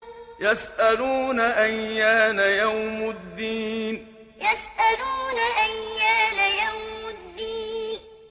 يَسْأَلُونَ أَيَّانَ يَوْمُ الدِّينِ يَسْأَلُونَ أَيَّانَ يَوْمُ الدِّينِ